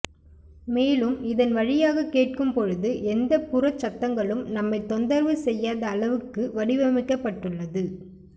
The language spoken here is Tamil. மேலும் இதன் வழியாக கேட்கும் பொழுது எந்த புறச் சத்தங்களும் நம்மை தொந்தரவு செய்யாத அளவுக்கு வடிவமைக்கப்பட்டுள்ளது